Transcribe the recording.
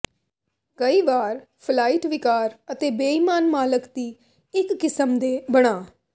ਕਈ ਵਾਰ ਫਲਾਈਟ ਿਵਕਾਰ ਅਤੇ ਬੇਈਮਾਨ ਮਾਲਕ ਦੀ ਇੱਕ ਕਿਸਮ ਦੇ ਬਣਾ